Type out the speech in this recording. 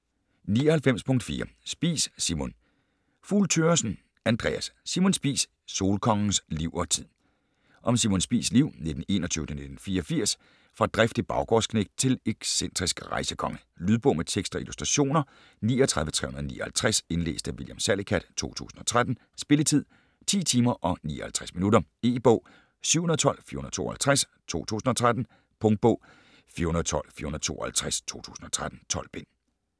99.4 Spies, Simon Fugl Thøgersen, Andreas: Simon Spies: solkongens liv og tid Om Simon Spies' liv (1921-1984) fra driftig baggårdsknægt til excentrisk rejsekonge. Lydbog med tekst og illustrationer 39359 Indlæst af William Salicath, 2013. Spilletid: 10 timer, 59 minutter. E-bog 712452 2013. Punktbog 412452 2013. 12 bind.